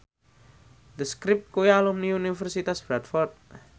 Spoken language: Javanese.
The Script kuwi alumni Universitas Bradford